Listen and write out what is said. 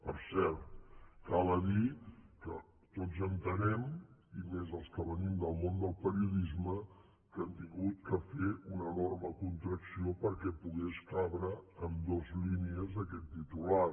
per cert cal dir que tots entenem i més els que venim del món del periodisme que han hagut de fer una enorme contracció perquè pogués cabre en dues línies aquest titular